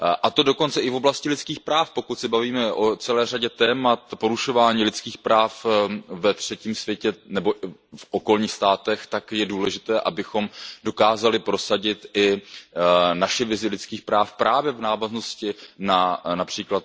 To dokonce i v oblasti lidských práv, pokud se bavíme o celé řadě témat, porušování lidských práv v okolních státech, tak je důležité, abychom dokázali prosadit i naši vizi lidských práv právě v návaznosti na např.